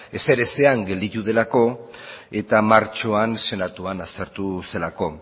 ezer ezean gelditu delako eta martxoan senatuan aztertu zelako